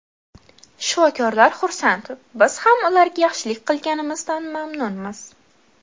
Shifokorlar xursand, biz ham ularga yaxshilik qilganimizdan mamnunmiz.